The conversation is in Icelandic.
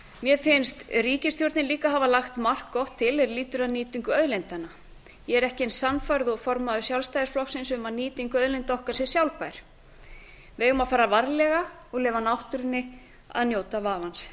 mér finnst ríkisstjórnin líka hafa lagt margt gott til er lýtur að nýtingu auðlindanna ég er ekki eins sannfærð og formaður sjálfstæðisflokksins um að nýting auðlinda okkar sé sjálfbær við eigum að fara varlega og leyfa náttúrunni að njóta vafans